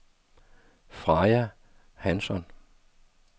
Freja Hansson